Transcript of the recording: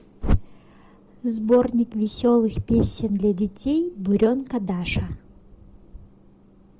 сборник веселых песен для детей буренка даша